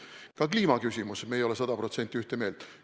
Ka kliimaküsimuses me ei ole sada protsenti ühte meelt.